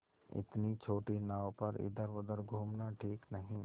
इतनी छोटी नाव पर इधर घूमना ठीक नहीं